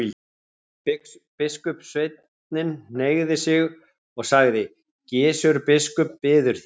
Biskupssveinninn hneigði sig og sagði:-Gizur biskup bíður þín.